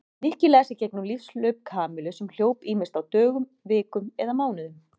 Nikki las í gegnum lífshlaup Kamillu sem hljóp ýmist á dögum, vikum eða mánuðum.